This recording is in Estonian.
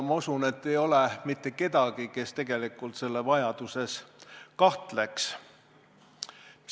Ma usun, et ei ole mitte kedagi, kes tegelikult selle vajaduses kahtleks.